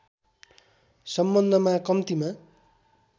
सम्बन्धमा कम्तिमा